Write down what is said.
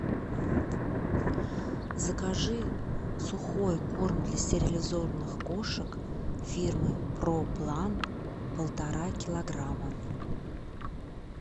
закажи сухой корм для стерилизованных кошек фирмы проплан полтора килограмма